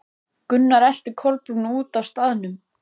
Gunnar elti Kolbrúnu út af staðnum.